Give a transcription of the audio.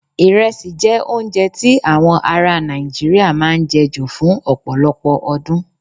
Irẹsi jẹ́ oúnjẹ tí awọn aráa Nàìjíríà máa ń jẹ ju fún ọ̀pọ̀lọpọ̀ ọdún.